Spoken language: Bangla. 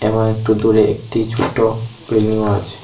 এবং একটু দূরে একটি ছোটো বিল্ডিংও আছে।